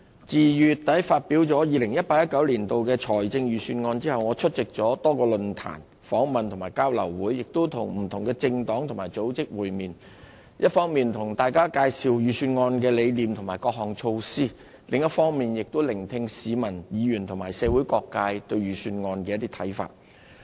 自2月底發表 2018-2019 年度財政預算案後，我出席了多個論壇、訪問和交流會，亦與不同的政黨和組織會面，一方面向大家介紹預算案的理念和各項措施，另一方面也聆聽市民、議員和社會各界對預算案的看法。